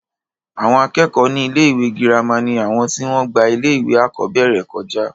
àwọn akẹ́kọ̀ọ́ ní ilé ìwé girama ni àwọn tí wọ́n gba ilé ìwé àkọ́bẹ̀rẹ̀ kọjá